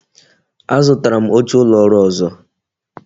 A zụtara m oche ụlọ ọrụ ọzọ